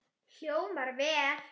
Hljómar vel.